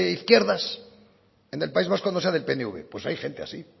izquierdas en el país vasco no sea del pnv pues hay gente así